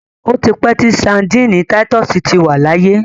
Ó ti pẹ́ tí Sandíínì títúsìì ti wà láyé.